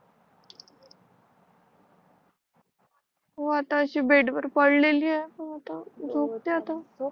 हो आता अशी बेड वर पडलेली आहे पण झोपते आता